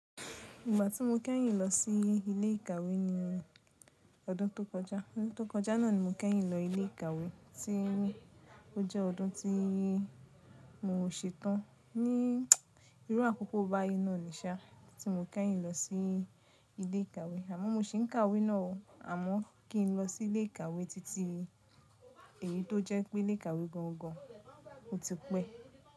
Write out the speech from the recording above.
Ìgbà tí mo kẹ́yìn lọ sí ilé ìkàwé ni ọdún tó kọjá. Ọdún tó kọjá náà ni mo kẹ́yìn lọ ilé ìkàwé tí ó jẹ́ ọdún tí mo ṣetán ní irú àkókò bayí náà nìṣa tí mo kẹ́yìn lọ sí ilé ìkàwé. Àmọ́ mo ṣì ń kàwé náà o, àmọ́ kí n lọ sí ilé ìkàwé titi eyi to jẹ pe ilẹ ìkàwé gán gán o ti pe.